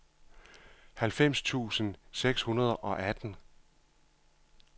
halvfems tusind seks hundrede og atten